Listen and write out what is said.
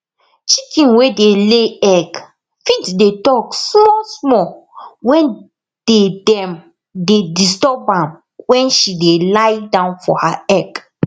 chicken wey dey ley egg fit dey talk small small wen dey dem dey disturb am wen she dey lie down for her egg